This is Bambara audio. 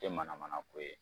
Te manamana ko ye